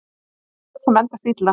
Léleg föt sem endast illa